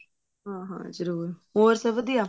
ਹਾਂ ਹਾਂ ਜਰੁਰ ਹੋਰ ਸਭ ਵਧੀਆ